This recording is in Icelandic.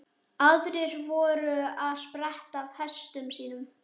Aðrir voru að spretta af hestum sínum.